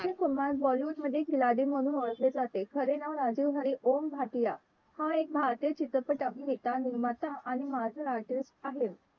अक्षय Kumar Bollywood मध्ये खिलाडी म्हणून ओळखले जाते खरे नाव राजीव हरी ओम भाटिया हा एक भारतीय चित्रपट अभिनेता निर्माता म्हणून ओळखला जातो आणि marathi Aartist आहे